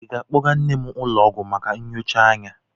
Ị ga-akpọga nne m ụlọ ọgwụ maka nyocha anya?